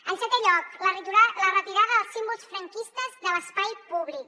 en setè lloc la retirada dels símbols franquistes de l’espai públic